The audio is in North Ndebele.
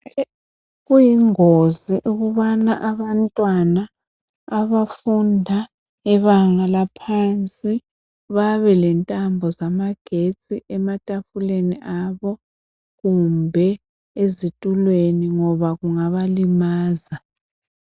Kuyingozi ukubana abantwana abafunda ibanga laphansi babe lentambo zamagetsi ematafuleni abo kumbe ezitulweni ngoba kungabalimaza.